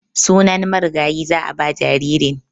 Sunan marigayi za a ba jaririn.